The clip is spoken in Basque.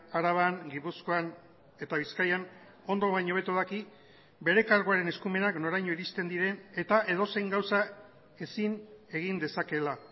araban gipuzkoan eta bizkaian ondo baino hobeto daki bere karguaren eskumenak noraino iristen diren eta edozein gauza ezin egin dezakeela